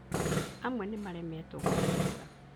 Amwe nĩmaremetwo gwĩtetera